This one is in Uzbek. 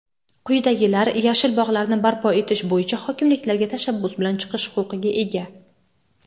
quyidagilar "Yashil bog‘lar"ni barpo etish bo‘yicha hokimliklarga tashabbus bilan chiqish huquqiga ega:.